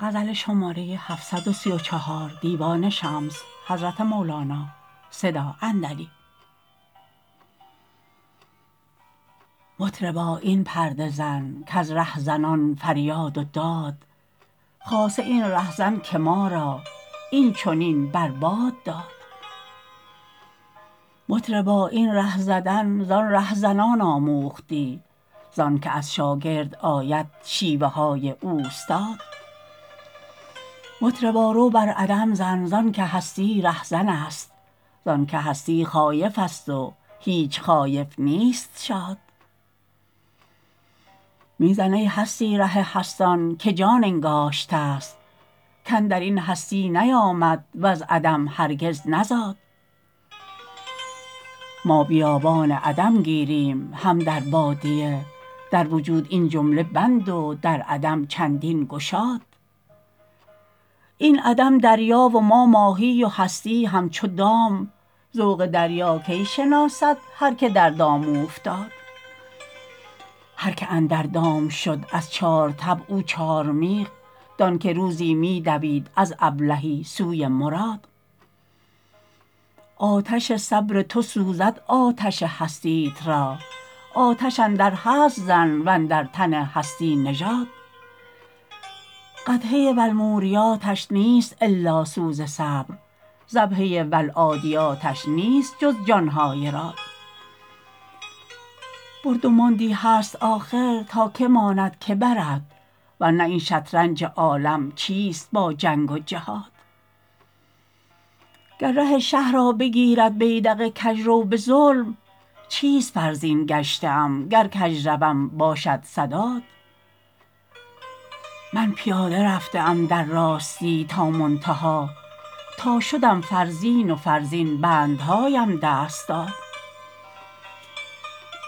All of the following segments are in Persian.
مطربا این پرده زن کز رهزنان فریاد و داد خاصه این رهزن که ما را این چنین بر باد داد مطربا این ره زدن زان رهزنان آموختی زانک از شاگرد آید شیوه های اوستاد مطربا رو بر عدم زن زانکه هستی رهزن است زانک هستی خایفست و هیچ خایف نیست شاد می زن ای هستی ره هستان که جان انگاشتست کاندر این هستی نیامد وز عدم هرگز نزاد ما بیابان عدم گیریم هم در بادیه در وجود این جمله بند و در عدم چندین گشاد این عدم دریا و ما ماهی و هستی همچو دام ذوق دریا کی شناسد هر که در دام اوفتاد هر که اندر دام شد از چار طبع او چارمیخ دانک روزی می دوید از ابلهی سوی مراد آتش صبر تو سوزد آتش هستیت را آتش اندر هست زن و اندر تن هستی نژاد قدحه و الموریاتش نیست الا سوز صبر ضبحه و العادیاتش نیست جز جان های راد برد و ماندی هست آخر تا کی ماند کی برد ور نه این شطرنج عالم چیست با جنگ و جهاد گه ره شه را بگیرد بیدق کژرو به ظلم چیست فرزین گشته ام گر کژ روم باشد سداد من پیاده رفته ام در راستی تا منتها تا شدم فرزین و فرزین بندهاام دست داد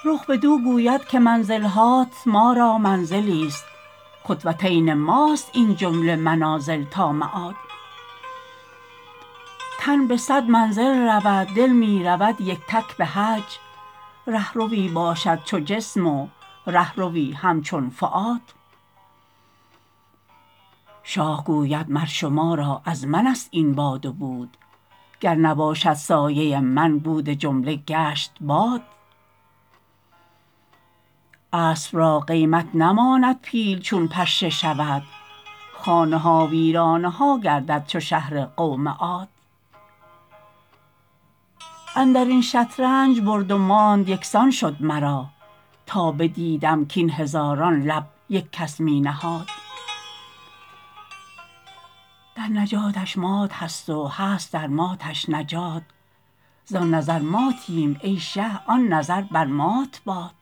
رخ بدو گوید که منزل هات ما را منزلیست خط و تین ماست این جمله منازل تا معاد تن به صد منزل رود دل می رود یک تک به حج ره روی باشد چو جسم و ره روی همچون فؤاد شاه گوید مر شما را از منست این یاد و بود گر نباشد سایه من بود جمله گشت باد اسب را قیمت نماند پیل چون پشه شود خانه ها ویرانه ها گردد چو شهر قوم عاد اندر این شطرنج برد و ماند یک سان شد مرا تا بدیدم کاین هزاران لعب یک کس می نهاد در نجاتش مات هست و هست در ماتش نجات زان نظر ماتیم ای شه آن نظر بر مات باد